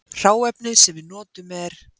Hráefnið sem við notum er